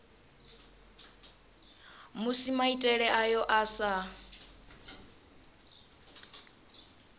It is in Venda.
musi maitele ayo a sa